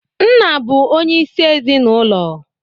Nna bụ onye isi ezinaụlọ